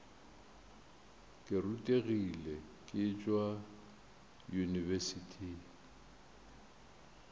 ke rutegile ke tšwa yunibesithing